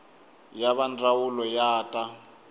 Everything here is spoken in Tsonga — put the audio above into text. ya va ndzawulo ya ta